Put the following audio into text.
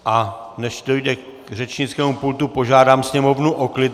A než dojde k řečnickému pultu, požádám sněmovnu o klid.